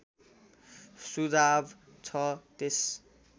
सुझाव छ त्यस